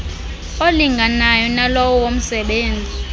olinganayo nalowo womsebenzi